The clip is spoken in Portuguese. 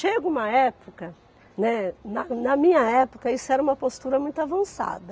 Chega uma época, né, na na minha época, isso era uma postura muito avançada.